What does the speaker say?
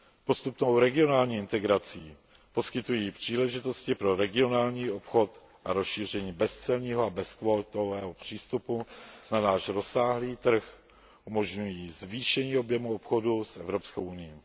Postupnou regionální integrací poskytují příležitosti pro regionální obchod a rozšíření bezcelního a bezkvótového přístupu na náš rozsáhlý trh, umožňují zvýšení objemu obchodu s Evropskou unií.